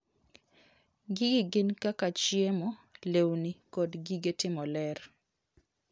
Gigi gin kaka chiemo, lewni kod gige timo ler.